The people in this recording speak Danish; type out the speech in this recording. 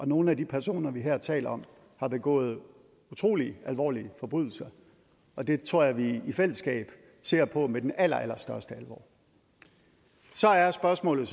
nogle af de personer vi her taler om har begået utrolig alvorlige forbrydelser og det tror jeg vi i fællesskab ser på med den allerallerstørste alvor så er spørgsmålet